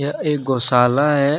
यह एक गौशाला है।